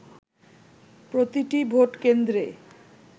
প্রতিটি ভোট কেন্দ্রে